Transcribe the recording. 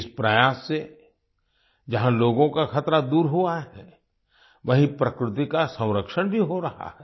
इस प्रयास से जहाँ लोगों का खतरा दूर हुआ है वहीँ प्रकृति का संरक्षण भी हो रहा है